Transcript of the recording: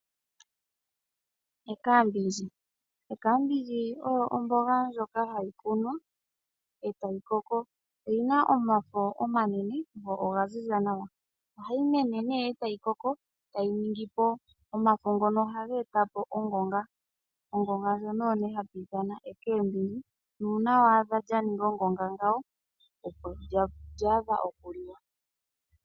Omboga yopashinanena oyo omboga ndjoka hayi kunwa etayi koko. Oyina omafo omanene go oga ziza nawa. Ohayi koko etayi ningipo omafo ngono geli molupe lwongonga. Uuna waadha lyaninga ongonga, ngawo olyaadha okuliwa.